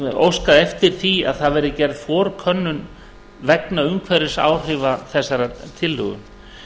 óskað eftir því að það verði gerð forkönnun vegna umhverfisáhrifa þessarar tillögu